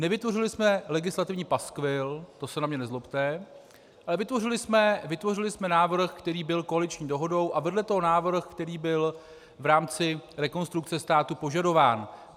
Nevytvořili jsme legislativní paskvil, to se na mě nezlobte, ale vytvořili jsme návrh, který byl koaliční dohodou, a vedle toho návrh, který byl v rámci Rekonstrukce státu požadován.